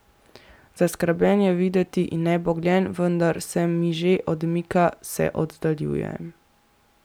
Zaskrbljen je videti in nebogljen, vendar se mi že odmika, se oddaljuje.